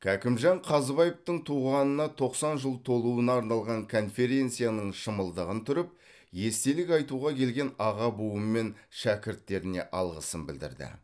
кәкімжан қазыбаевтың туғанына тоқсан жыл толуына арналған конференцияның шымылдығын түріп естелік айтуға келген аға буын мен шәкірттеріне алғысын білдірді